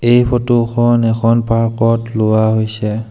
এই ফটো খন এখন পাৰ্ক ত লোৱা হৈছে।